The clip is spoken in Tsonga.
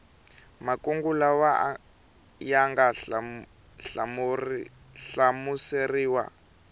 makungu lawa ya nga hlamuseriwa